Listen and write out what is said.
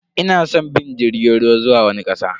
Ina san in bi jirgin ruwa zuwa wani kasa.